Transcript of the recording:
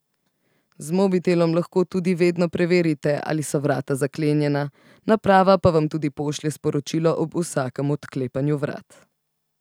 Z mobitelom lahko tudi vedno preverite, ali so vrata zaklenjena, naprava pa vam tudi pošlje sporočilo ob vsakem odklepanju vrat.